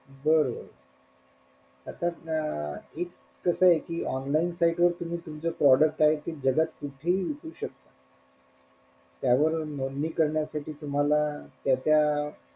बर बर आता अं एक कसय कि online site वर तुम्ही तुमचं product ते जगात कुठेही विकू शकता त्यावरून नोंदणी करण्यासाठी तुम्हाला त्या त्या,